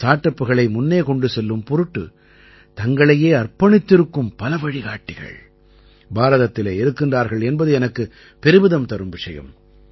start அப்புகளை முன்னே கொண்டு செல்லும் பொருட்டு தங்களையே அர்ப்பணித்திருக்கும் பல வழிகாட்டிகள் பாரதத்திலே இருக்கிறார்கள் என்பது எனக்கு பெருமிதம் தரும் விஷயம்